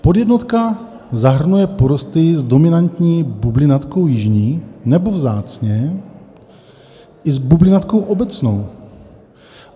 Podjednotka zahrnuje porosty s dominantní bublinatkou jižní nebo vzácně i s bublinatkou obecnou.